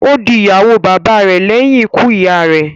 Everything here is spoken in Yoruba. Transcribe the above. Ó di ìyàwó bàba rè lẹ́yìn ikú ìyá a rẹ̀.